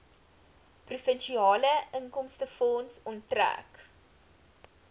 provinsiale inkomstefonds onttrek